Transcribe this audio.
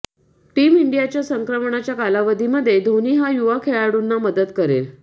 team इंडियाच्या संक्रमणाच्या कालावधीमध्ये धोनी हा युवा खेळाडूंना मदत करेल